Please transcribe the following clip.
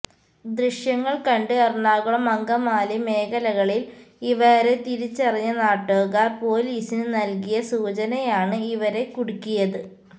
ദൃശ്യങ്ങള് കണ്ട് എറണാകുളം അങ്കമാലി മേഖലകളില് ഇവരെ തിരിച്ചറിഞ്ഞ നാട്ടുകാര് പൊലീസിന് നല്കിയ സൂചനയാണ് ഇവരെ കുടുക്കിയത്